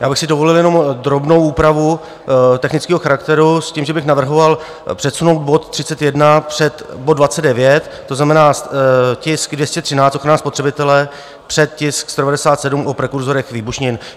Já bych si dovolil jenom drobnou úpravu technického charakteru s tím, že bych navrhoval přesunout bod 31 před bod 29, to znamená, tisk 213, ochrana spotřebitele, před tisk 197, o prekurzorech výbušnin.